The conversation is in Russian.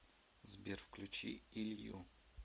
сбер включи илью